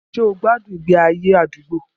Ṣé o gbádùn ìgbé ayé àdúgbò?